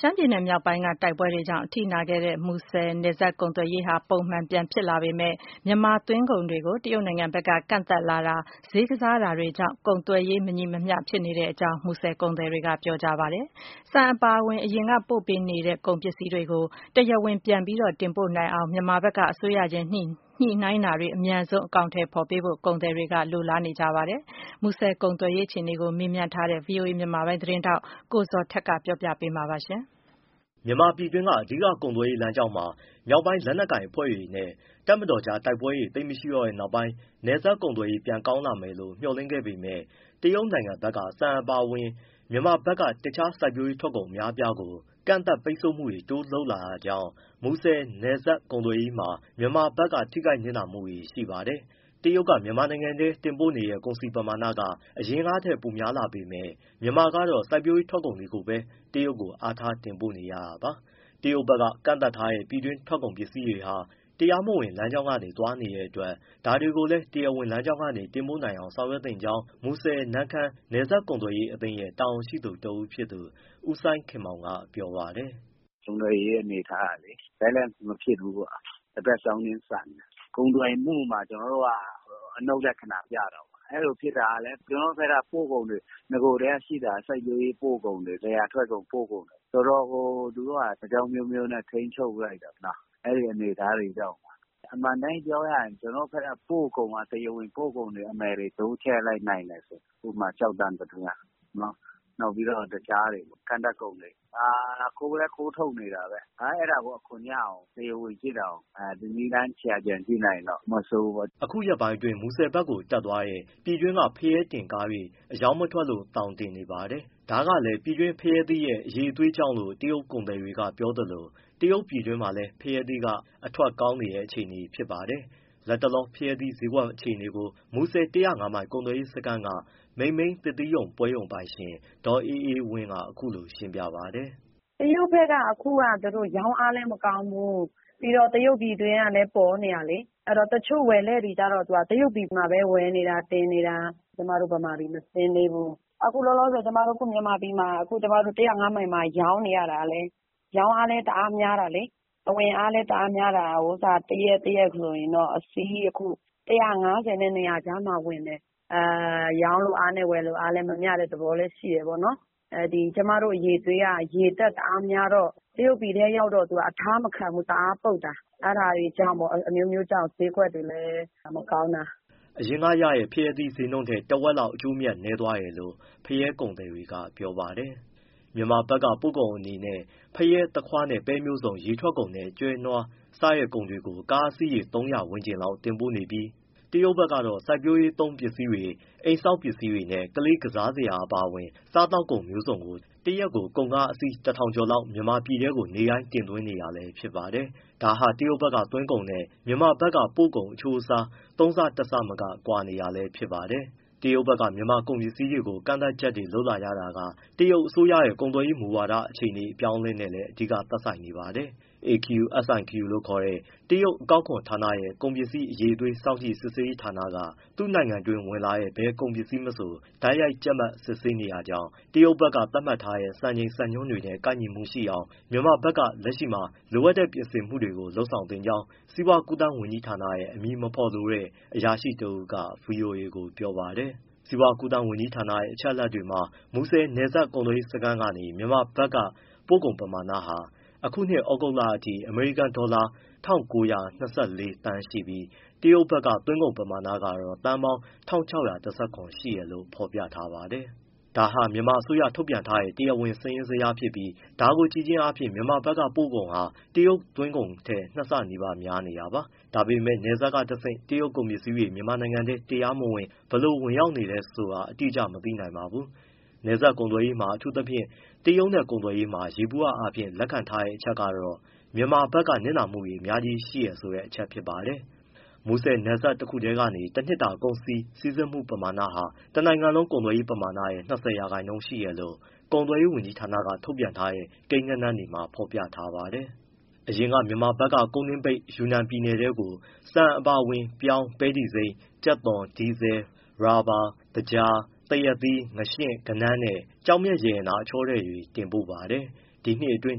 ရှမ်းပြည်နယ်မြောက်ပိုင်းက တိုက်ပွဲတွေကြောင့် အထိနာခဲ့တဲ့ မူဆယ်နယ်စပ် ကုန်သွယ်ရေးဟာ ပုံမှန်ပြန်ဖြစ်လာပေမဲ့ တရုတ်နိုင်ငံက မြန်မာသွင်းကုန်တွေကို ကန့်သတ်လာတာ ဈေးကစားတာတွေကြောင့် ကုန်သွယ်ရေး မညီမျှမှုတွေဖြစ်နေကြောင်း မူဆယ်ကုန်သည်တွေက ပြောပါတယ်။ ဆန်အပါအဝင် အရင်က တင်ပို့နေတဲ့ ကုန်ပစ္စည်းတွေကို တရားဝင်ပြန်ပြီး တင်ပို့နိုင်အောင် မြန်မာဘက်က အစိုးရချင်း ညှိနှိုင်းတာတွေ အမြန်ဆုံး အကောင်အထည် ဖော်ပေးဖို့ ကုန်သည်တွေက မျှော်လင့် နေပါတယ်။ မူဆယ်ကုန်သွယ်ရေး အခြေအနေကို မေးမြန်းထားတဲ့ ဗွီအိုအေ မြန်မာပိုင်းသတင်းထောက် ကိုဇော်ထက်က ပြောပြပေးမှာပါ။ မြန်မာပြည်တွင်း အဓိက ကုန်သွယ်ရေး လမ်းကြောင်းပေါ်မှာ မြောက်ပိုင်းလက်နက်ကိုင် အဖွဲ့တွေနဲ့ တပ်မတော်အကြား တိုက်ပွဲတွေ သိပ်မရှိတော့တဲ့နောက်ပိုင်း နယ်စပ်ကုန်သွယ်ရေး ပြန်ကောင်းလာမယ်လို့ မျှော်လင့်ခဲ့ပေမဲ့ တရုတ်နိုင်ငံဘက်က ဆန်အပါအဝင် မြန်မာဘက်က တခြားစိုက်ပျိုးရေးထွက်ကုန် အများအပြားကို ကန့်သတ် ပိတ်ဆို့မှုတွေ တိုးလုပ်လာတာကြောင့် မူဆယ်နယ်စပ် ကုန်သွယ်ရေးမှာ မြန်မာဘက်က ထိခိုက်၊ နစ်နာမှုတွေ ရှိပါတယ်။ တရုတ်က မြန်မာနိုင်ငံထဲ တင်ပို့တဲ့ ကုန်စည်ပမာဏက အရင်ကထက် ပိုများလာပေမဲ့ မြန်မာကတော့ စိုက်ပျိုးရေးထွက်ကုန်ပဲ တရုတ်ကို အားထား တင်ပို့နေရတာပါ။ တရုတ်ဘက်က ကန့်သတ်ထားတဲ့ ပြည်တွင်းကုန်ပစ္စည်းတွေဟာ တရားမဝင် လမ်းကြောင်းက သွားနေတဲ့အတွက် ဒါတွေကိုလည်း တရားဝင်လမ်းကြောင်းက တင်ပို့နိုင်အောင် ဆောင်ရွက်သင့်ကြောင်း မူဆယ်-နမ့်ခမ်း နယ်စပ်ကုန်သွယ်ရေးအသင်းရဲ့ တာဝန်ရှိသူ တဦးဖြစ်သူ ဦးစိုင်းခင်မောင်က ပြောပါတယ်။ “ကုန်သွယ်ရေး အနေအထားကလေ balance မဖြစ်ဘူးပေါ့။ တဘက်စောင်းနင်း ဆန်တယ်။ ကုန်သွယ်မှုမှာ ကျနော်တို့က အနုတ်လက္ခဏာ ပြတာပေါ့။ အဲဒီလိုဖြစ်တာကလည်း ကျနော်တို့ဘက်က ပို့ကုန်တွေ နဂိုကတည်းက ရှိတာက စိုက်ပျိုးရေး ပို့ကုန်တွေ လယ်ယာထွက်ကုန် ပို့ကုန်တွေ။ ဆိုတော့ သူတို့ (တရုတ်) က အကြောင်းအမျိုးမျိုးနဲ့ ထိန်းချုပ်ပစ်လိုက်တယ်။ အဲဒီအနေအထားတွေကြောင့်ပါ။ အမှန်အတိုင်း ပြောရရင် ကျနော်တို့ဘက်က တရားဝင်ပို့ကုန် အမယ်တွေ တိုးချဲ့နိုင်တယ်ဆိုရင် ဥပမာ- ကျောက်သံ ပတ္တမြား၊ နောက် တခြား ကန့်သတ်ကုန်တွေ။ အခုလည်း ခိုးထုတ်နေတာပဲ။ အဲဒါကို အခွန်ရအောင် တရားဝင်ဖြစ်အောင် နည်းလမ်း ရှာကြံ ကြည့်နိုင်ရင်တော့ မဆိုးဘူးပေါ့။ ပြည်သူအတွက်၊ နိုင်ငံအတွက် အကျိုးမဖြစ်ဘူး ဖြစ်နေတယ်။” အခုရက်ပိုင်းအတွင်း မူဆယ်ဘက်ကို တက်သွားတဲ့ ပြည်တွင်းက ဖရဲသီးတင်ကားတွေ အရောင်းမထွက်လို့ သောင်တင်နေပါတယ်။ ဒါကလည်း ပြည်တွင်းဖရဲသီးရဲ့ အရည်အသွေးကြောင့်လို့ တရုတ်ကုန်သည်တွေက ပြောသလို တရုတ်ပြည်တွင်းမှာလည်း ဖရဲသီးက အထွက်ကောင်းနေတဲ့ အခြေအနေ ဖြစ်နေပါတယ်။ လက်တလော ဖရဲသီးဈေးကွက်အခြေအနေကို မူဆယ် ၁၀၅မိုင် ကုန်သွယ်ရေးစခန်းက မိန်မိန်းသစ်သီးပွဲရုံ ပိုင်ရှင် ဒေါ်အေးအေးဝင်းက အခုလို ရှင်းပြပါတယ်။ “တရုတ်ဘက်က အခုရောင်းအားလည်း မကောင်းဘူး။ ပြီးတော့ တရုတ်ပြည်တွင်းကလည်း ပေါ်နေတာလေ။ အဲဒီတော့ တချို့ဝယ်လက်တွေကျတော့ တရုတ်ပြည်မှာပဲ ဝယ်နေတာ၊ တင်နေတာ။ ကျမတို့ မြန်မာပြည် မဆင်းသေးဘူး။ အခုလောလောဆယ် ကျမတို့ မြန်မာပြည်မှာ ကျမတို့ ၁၀၅ မိုင်မှာ ရောင်းနေရတာလည်း ရောင်းအားလည်း တအားများတာလေ။ အဝင်အားလည်း တအားများတာ၊ တရက်တရက်ကို အခုအစီး ၁၅၀နဲ့ ၂၀၀ ကြားမှာ ဝင်တယ်။ ရောင်းလိုအားနဲ့ ဝယ်လိုအား မမျှတဲ့ သဘောလည်း ရှိတယ်ပေါ့နော်။ ကျမတို့ အရည်အသွေးက ရေဓာတ် တအားများတော့ တရုတ်ပြည်ထဲ ရောက်တော့ အထားမခံဘူး၊ တအားပုပ်တာ။ အဲဒါတွေကြောင့်ဖို့ပေါ့ ဈေးကွက်တွေလည်း မကောင်းတာ။” အရင်ကရတဲ့ ဖရဲသီးဈေးနှုန်းထက် တဝက်လောက် အကျိုးအမြတ် နည်းသွားတယ်လို့ ဖရဲသီးကုန်သည်တွေက ပြောပါတယ်။ မြန်မာက ပို့ကုန်အနေနဲ့ ဖရဲ၊ သခွားနဲ့ ပဲမျိုးစုံ၊ ရေထွက်ကုန်နဲ့ ကျွဲနွား စတဲ့ကုန်တွေ ကုန်ကားအစီးရေ ၃၀၀ ဝန်းကျင်လောက် တင်ပို့နေပြီး တရုတ်ဘက်ကတော့ စိုက်ပျိုးရေးသုံး ပစ္စည်းတွေ၊ အိမ်ဆောက် ပစ္စည်းတွေနဲ့ ကလေး ကစားစရာတွေ အပါအဝင် စားသောက်ကုန် မျိုးစုံကို တရက် ကုန်ကားအစီး ၁၀၀၀ ကျော်လောက် မြန်မာပြည်ထဲကို နေ့တိုင်း တင်သွင်းနေတာလည်း ဖြစ်ပါတယ်။ ဒါဟာ တရုတ်ဘက်က သွင်းကုန်နဲ့ မြန်မာဘက်ကပို့ကုန် အချိုးအစား ၃ ဆ၊ ၁ ဆမက ကွာဟနေတာလည်း ဖြစ်ပါတယ်။ တရုတ်ဘက်က မြန်မာ့ကုန်ပစ္စည်းတွေကို ကန့်သတ်ချက်တွေ လုပ်လာရတာက တရုတ်အစိုးရရဲ့ ကုန်သွယ်ရေးမူဝါဒ အပြောင်းအလဲနည်းလည်း အဓိက သက်ဆိုင်နေပါတယ်။ AQSIQ လို့ခေါ်တဲ့ တရုတ် အကောက်ခွန်ဌာနရဲ့ ကုန်ပစ္စည်းအရည်အသွေး စောင့်ကြည့် စစ်ဆေးရေးဌာနက သူ့နိုင်ငံအတွင်းဝင်လာတဲ့ ဘယ်ကုန်ပစ္စည်းမဆို တိုက်ရိုက် ကျပ်မတ် စစ်ဆေးနေတာကြောင့် တရုတ်ဘက်က သတ်မှတ်ထားတဲ့ စံချိန် စံနှုန်းတွေနဲ့ ကိုက်ညီမှုရှိအောင် မြန်မာဘက်က လက်ရှိမှာ လိုအပ်တဲ့ ပြင်ဆင်မှုတွေကို လုပ်ဆောင်နေကြောင်း စီးပွားကူးသန်းဝန်ကြီးဌာနက အမည်မဖော်လိုတဲ့ အရာရှိ တဦးက ဗွီအိုအေကို ပြောပါတယ်။ စီးပွားကူးသန်းဝန်ကြီးဌာနရဲ့ အချက်အလက်တွေမှာတော့ မူဆယ်နယ်စပ် ကုန်သွယ်ရေးကနေ မြန်မာဘက်က ပို့ကုန်ပမာဏဟာ အခုနှစ် သြဂုတ်လအထိ အမေရိကန်ဒေါ်လာ ၂၉၂၄ သန်း ရှိပြီး တရုတ်ဘက်က သွင်းကုန်ပမာဏကတော့ သန်းပေါင်း ၁၆၁၇ ရှိတယ်လို့ ဖော်ပြထားပါတယ်။ ဒါဟာ မြန်မာအစိုးရဘက်က ထုတ်ပြန်ထားတဲ့ တရားဝင် စာရင်းဇယားဖြစ်ပြီး ဒါကိုကြည့်ခြင်းအားဖြင့် မြန်မာဘက်က ပို့ကုန်ဟာ တရုတ်ဘက်ကသွင်းကုန်ထက် ၂ ဆနီးပါး များနေတာပါ။ ဒါပေမဲ့ နယ်စပ်ကတဆင့် တရုတ်ကုန် ပစ္စည်းတွေ မြန်မာနိုင်ငံထဲကို တရားမဝင် ဘယ်လောက် ဝင်ရောက်နေတယ် ဆိုတာကတော့ အတိအကျ မသိနိုင်ပါဘူး။ နယ်စပ်ကုန်သွယ်ရေးတွေမှာ အထူးသဖြင့် တရုတ်နဲ့ ကုန်သွယ်ရေးမှာ ယေဘုယျအားဖြင့် လက်ခံထားကြတဲ့အချက်ကတော့ မြန်မာဘက်က နစ်နာမှုတွေ အများကြီးရှိတယ်ဆိုတဲ့ အချက်ဖြစ်ပါတယ်။ မူဆယ်နယ်စပ်တခုထဲရဲ့ တနှစ်တာ ကုန်စည် စီးဆင်းမှုဟာ တနိုင်ငံလုံး ကုန်သွယ်ရေး ပမာဏရဲ့ ၂၀ ရာခိုင်နှုန်း ရှိတယ်လို့ ကုန်သွယ်ရေးဝန်ကြီးဌာနက ထုတ်ပြန်ထားတဲ့ ကိန်းဂဏန်းတွေမှာ ဖော်ပြထားပါတယ်။ အရင်က မြန်မာဘက်က ကုန်းတွင်းပိတ် တရုတ်ယူနန်ပြည်နယ်ထဲကို ဆန်အပါအဝင် ပြောင်း၊ ပဲတီစိမ်း၊ ကြက်သွန်၊ ဒီဇယ်၊ ရော်ဘာ၊ သကြား၊ သရက်သီး၊ ငါးရှဉ့်၊ ကဏန်းနဲ့ ကျောက်မျက်ရတနာ အချောထည်တွေ တင်ပို့ပါတယ်။ ဒီနှစ်အတွင်း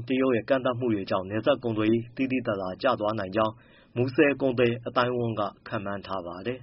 မှာ တရုတ်ရဲ့ ကန့်သတ်မှုတွေကြောင့် နယ်စပ်ကုန်သွယ်ရေး သိသိသာသာ ကျသွားနိုင်ကြောင်း မူဆည်ကုန်သည် အသိုင်းအဝန်းက ခန့်မှန်းထားပါတယ်။